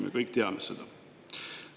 Me kõik teame seda.